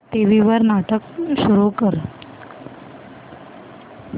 TV वर नाटक सुरू कर